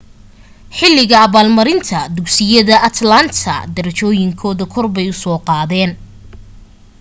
xilliga abaalmarinta dugsiyada atlanta derejooyinkooda korbay u soo qaadeen